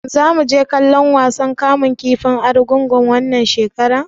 Shin zamu je kallon wasan kamun kifin Argungu wannan shekara?